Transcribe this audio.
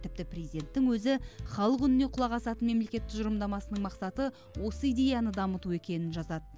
тіпті президенттің өзі халық үніне құлақ асатын мемлекет тұжырымдамасының мақсаты осы идеяны дамыту екенін жазады